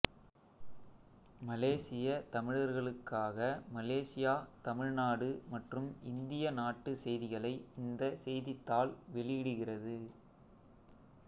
மலேசியத் தமிழர்களுக்காக மலேசியா தமிழ்நாடு மற்றும் இந்திய நாட்டு செய்திகளை இந்த செய்தித்தாள் வெளியிடுகிறது